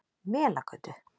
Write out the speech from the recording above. Melagötu